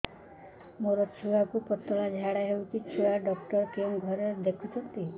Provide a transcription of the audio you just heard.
ମୋର ଛୁଆକୁ ପତଳା ଝାଡ଼ା ହେଉଛି ଛୁଆ ଡକ୍ଟର କେଉଁ ଘରେ ଦେଖୁଛନ୍ତି